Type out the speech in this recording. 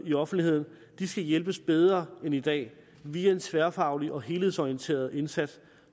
i offentligheden skal hjælpes bedre end i dag via en tværfaglig og helhedsorienteret indsats